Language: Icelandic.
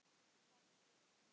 Hrefna systir.